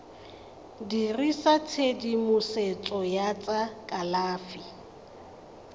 dirisa tshedimosetso ya tsa kalafi